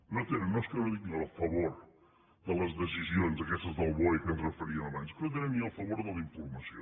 no és que no tinguin el favor de les decisions aquestes del boe a què ens referíem abans és que no tenen ni el favor de la informació